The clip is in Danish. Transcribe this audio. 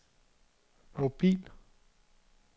mobil